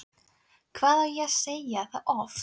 Hvað á ég að segja það oft?!